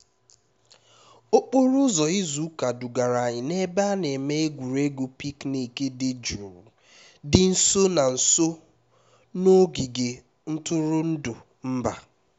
okporo ụzọ izu ụka dugara anyị n'ebe a na-eme egwuregwu picnic dị jụụ dị nso na nso na ogige ntụrụndụ mba